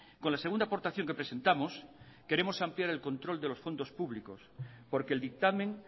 con la segunda aportación que presentamos queremos ampliar el control de los fondos públicos porque el dictamen